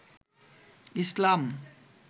ইসলাম